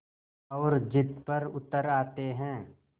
और ज़िद पर उतर आते हैं